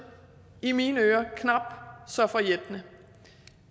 i mine ører knap så forjættende